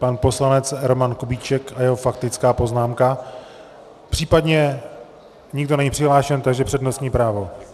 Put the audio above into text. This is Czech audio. Pan poslanec Roman Kubíček a jeho faktická poznámka, případně - nikdo není nepřihlášen, takže přednostní právo.